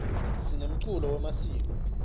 simemkulo yemasiko